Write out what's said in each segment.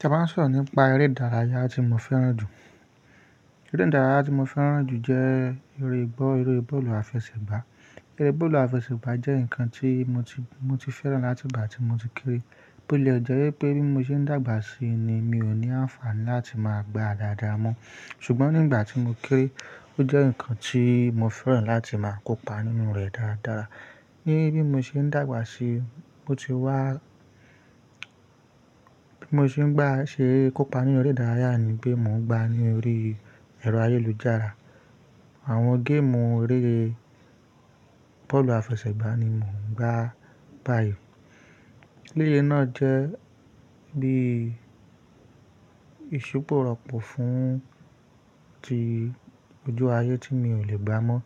Tá bá ń sọ̀rọ̀ nípa eré ìdárayá tí mo fẹ́ràn jù. Eré ìdárayá tí mo fẹ́ràn jù jẹ́ eré gbọ́, eré bọ́ọ̀lù àfẹsẹ̀gbá. Eré bọ́ọ̀lù àfẹsẹ̀gbá jẹ́ nǹkan tí mo ti, mo ti fẹ́ràn láti ìgbà tí mo ti kéré. Bí ó le jẹ́ wí pé bí mo ṣe ń dàgbà sí ni mi ò ní àǹfààní láti máa gbá a dáadáa mọ́. Ṣùgbọ́n nígbà tí mo kéré, ó jẹ́ nǹkan tí mo fẹ́ràn láti máa kópa nínú rẹ̀ dáadára. Ní bí mo ṣe ń dàgbà sí, ó ti wá, bí mo ṣe ń gbà ṣe kópa ní orí ìdárayá ni pé mò ń gbá ní orí ẹ̀rọ ayélujára. Àwọn géèmù eré bọ́ọ̀lù àfẹsẹ̀gbá ni mò ń gbá báyìí. Eré náà jẹ́ bí ìṣupò rọ̀pù fún ti ojú ayé tí mi ò lè gbá mọ́.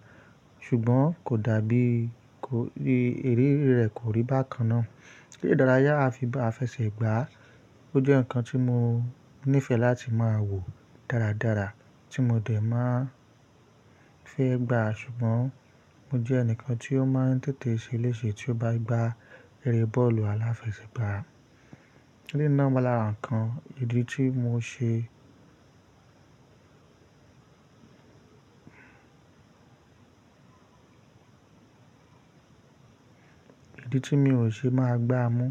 Ṣùgbọ́n kò dàbí kò rí, eré rẹ̀ kò rí bákan náà. Eré ìdárayá àfi bọ́ àfẹsẹ̀gbá, ó jẹ́ nǹkan tí mo nífẹ̀ẹ́ láti máa wò dáradára tí mo dẹ̀ máa fẹ́ gbà. Ṣùgbọ́n mo jẹ́ ẹnìkan tí ó máa ń tètè ṣe léṣe tí ó bá gbá eré bọ́ọ̀lù aláfẹsẹ̀gbá. Eré náà wà lára ǹkan ìdí tí mò ń ṣe, ìdí tí mi ò ṣe máa gbá mọ́.